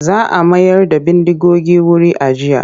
Za a mayar da bindigogin wuri ajiya.